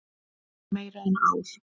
Meira en ár.